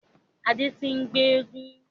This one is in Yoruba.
Adé tí n gbe éégún.